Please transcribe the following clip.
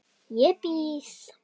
Ég býð.